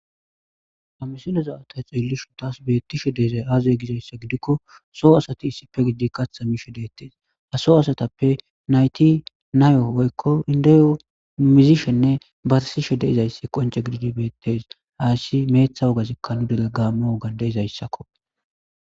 Ha misileza ta xeellishun taas beettishe deezay aazey gizayssa gidikko. so asati issipe gidi katha miishe deettees. ha soo asatappe nayti nayo woykko indeyo mizishenne barsishe de'izayssi qonce gididi beettes. haassi meeththa woga zikkanu dege gaammo wogan de'izayssakko.